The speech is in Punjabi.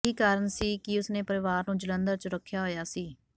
ਇਹੀ ਕਾਰਨ ਸੀ ਕਿ ਉਸ ਨੇ ਪਰਿਵਾਰ ਨੂੰ ਜਲੰਧਰ ਚ ਰੱਖਿਆ ਹੋਇਆ ਸੀ